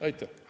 " Aitäh!